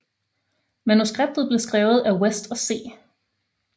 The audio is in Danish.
Manuskriptet blev skrevet af West og C